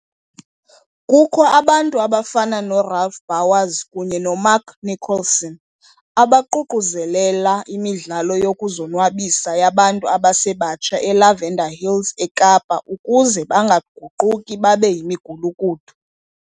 Kukho abantu abafana noRalph Bouwers kunye noMark Nicholson, abaququzelela imidlalo yokuzonwabisa yabantu abasebatsha eLavender Hills eKapa ukuze bangaguquki babe yimigulukudu.